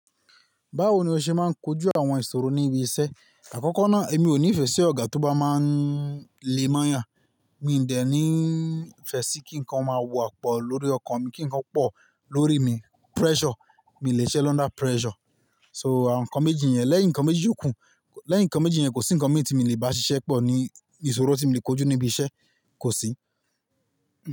Báwo ni o ṣe máa ń kojú àwọn ìṣòro ní ibi iṣẹ́? Àkọ́kọ́ náà èmi ò ní ìfẹ́ sí ọ̀gá tó bá máa ń lé mọ́ eeyan Mi dẹ ní ìfẹ́ sí kí nǹkan máa wọ àpọ̀ lórí ọkàn mi, kí nǹkan pọ̀ lórí mi. Pressure, mii lè ṣiṣẹ́ lọ under pressure. So àwọn nǹkan méjì yẹn, lẹ́yìn nǹkan méjì yókù, lẹ́yìn nǹkan méjì yẹn kò sí nǹkan mìí tí mi lè bá ṣiṣẹ́ pọ̀ ní ìṣòro tí mii lè kojú níbi iṣẹ́, kò sí.